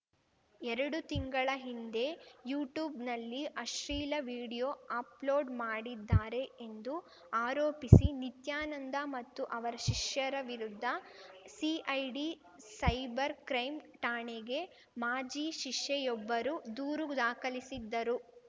ಎರಡು ತಿಂಗಳ ಹಿಂದೆ ಯೂಟ್ಯೂಬ್‌ನಲ್ಲಿ ಆಶ್ಲೀಲ ವಿಡಿಯೋ ಆಪ್‌ಲೋಡ್‌ ಮಾಡಿದ್ದಾರೆ ಎಂದು ಆರೋಪಿಸಿ ನಿತ್ಯಾನಂದ ಮತ್ತು ಅವರ ಶಿಷ್ಯರ ವಿರುದ್ಧ ಸಿಐಡಿ ಸೈಬರ್‌ ಕ್ರೈಂ ಠಾಣೆಗೆ ಮಾಜಿ ಶಿಷ್ಯೆಯೊಬ್ಬರು ದೂರು ದಾಖಲಿಸಿದ್ದರು